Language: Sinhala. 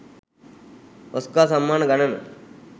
ඔස්කා සම්මාන ගණන